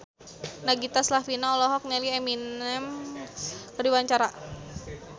Nagita Slavina olohok ningali Eminem keur diwawancara